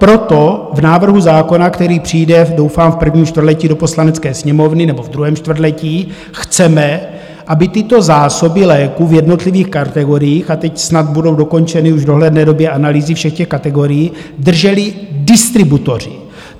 Proto v návrhu zákona, který přijde, doufám, v prvním čtvrtletí do Poslanecké sněmovny nebo v druhém čtvrtletí, chceme, aby tyto zásoby léků v jednotlivých kategoriích - a teď snad budou dokončeny už v dohledné době analýzy všech těch kategorií - drželi distributoři.